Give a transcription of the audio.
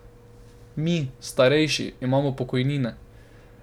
Mi, starejši, imamo pokojnine.